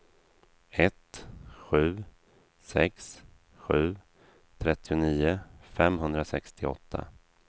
ett sju sex sju trettionio femhundrasextioåtta